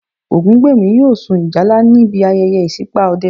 Ògúngbèmí yóò sun ìjálá níbi ayẹyẹ ìṣípà Ọdẹ